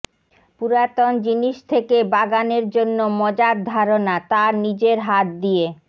পুরাতন জিনিস থেকে বাগান জন্য মজার ধারণা তার নিজের হাত দিয়ে